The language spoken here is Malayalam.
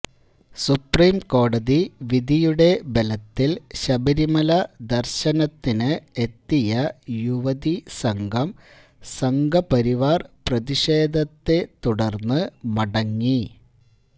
സുപ്രിംകോടതി വിധിയുടെ ബലത്തില് ശബരിമല ദര്ശനത്തിന് എത്തിയ യുവതി സംഘം സംഘ്പരിവാര് പ്രതിഷേധത്തെ തുടര്ന്ന് മടങ്ങി